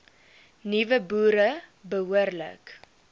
nuwe boere behoorlik